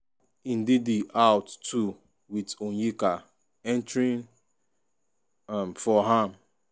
ndidi out too wit onyeka entering um for am.